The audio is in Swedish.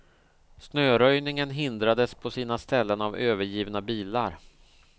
Snöröjningen hindrades på sina ställen av övergivna bilar.